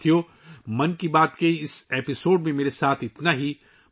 ساتھیو، 'من کی بات ' کے اس ایپی سوڈ میں میرے ساتھ اتنا ہی